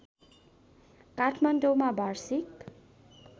काठमाडौँमा वार्षिक